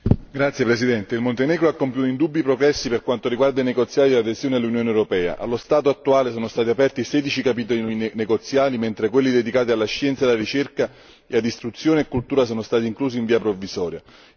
Signor Presidente, onorevoli colleghi, il Montenegro ha compiuto indubbi progressi per quanto riguarda i negoziati di adesione all'Unione europea. Allo stato attuale sono stati aperti sedici capitoli negoziali, mentre quelli dedicati alla scienza e alla ricerca e ad istruzione e cultura sono stati inclusi in via provvisoria.